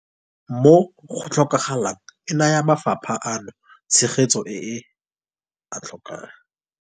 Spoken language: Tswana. Mo go tlhokagalang, e naya mafapha ano tshegetso e a e tlhokang.